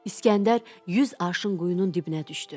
İsgəndər yüz aşın quyunun dibinə düşdü.